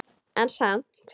En samt.